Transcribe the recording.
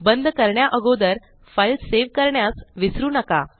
बंद करण्या अगोदर फ़ाइल सेव करण्यास विसरू नका